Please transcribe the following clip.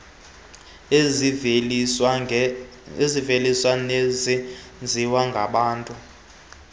eziveliswe nezenziwe ngababntu